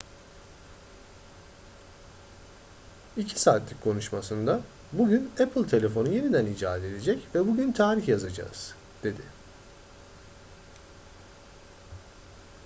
2 saatlik konuşmasında bugün apple telefonu yeniden icat edecek bugün tarih yazacağız dedi